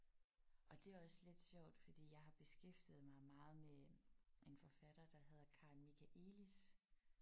Og det er også lidt sjovt fordi jeg har beskæftiget mig meget med en forfatter der hedder Karin Michaëlis